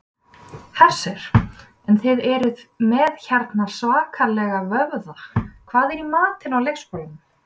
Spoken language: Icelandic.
Hersir: En þið eruð með hérna svakalega vöðva, hvað er í matinn á leikskólanum?